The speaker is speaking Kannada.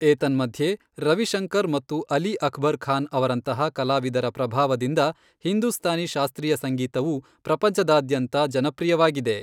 ಏತನ್ಮಧ್ಯೆ, ರವಿಶಂಕರ್ ಮತ್ತು ಅಲಿ ಅಕ್ಬರ್ ಖಾನ್ ಅವರಂತಹ ಕಲಾವಿದರ ಪ್ರಭಾವದಿಂದ ಹಿಂದೂಸ್ತಾನಿ ಶಾಸ್ತ್ರೀಯ ಸಂಗೀತವು ಪ್ರಪಂಚದಾದ್ಯಂತ ಜನಪ್ರಿಯವಾಗಿದೆ.